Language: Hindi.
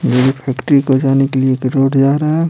ये फैक्ट्री को जाने के लिए एक रोड जा रहा है।